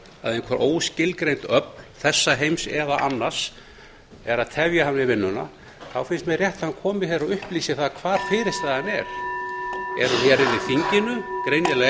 að einhver óskilgreind öfl þessa heims eða annars finnst mér rétt að hann komi hér og upplýsi hvar fyrirstaðan er er hún hér inni í þinginu greinilega ekki hjá þeim sem flytja þessa tillögu er hún í sjálfstæðisflokknum